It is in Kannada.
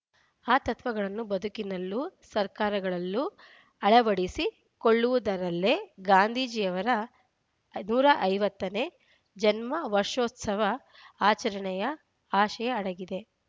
ಆ ತತ್ವಗಳನ್ನು ಬದುಕಿನಲ್ಲೂ ಸರ್ಕಾರಗಳಲ್ಲೂ ಅಳವಡಿಸಿಕೊಳ್ಳುವುದರಲ್ಲೇ ಗಾಂಧೀಜಿಯವರ ನೂರ ಐವತ್ತ ನೇ ಜನ್ಮ ವರ್ಷೋತ್ಸವ ಆಚರಣೆಯ ಆಶಯ ಅಡಗಿದೆ